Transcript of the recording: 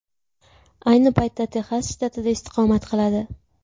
Ayni paytda Texas shtatida istiqomat qiladi.